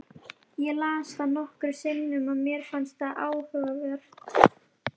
Ég las það nokkrum sinnum og mér fannst það áhugavert.